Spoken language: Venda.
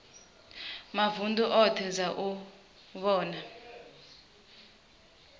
mavunḓu oṱhe dza u vhona